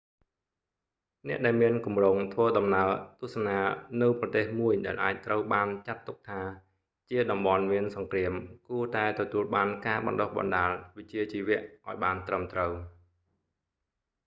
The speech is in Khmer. អ្នកដែលមានគម្រោងធ្វើដំណើរទស្សនានៅប្រទេសមួយដែលអាចត្រូវបានចាត់ទុកថា ជាតំបន់មានសង្គ្រាមគួរតែទទួលបានការបណ្តុះបណ្តាលវិជ្ជាជីវៈឱ្យបានត្រឹមត្រូវ